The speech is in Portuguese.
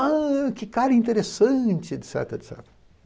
Ah, que cara interessante!, et cetera, et cetera.